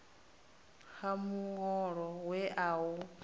ha muholo we a u